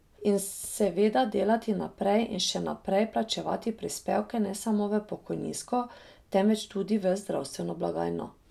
In seveda delati naprej in še naprej plačevati prispevke ne samo v pokojninsko, temveč tudi v zdravstveno blagajno.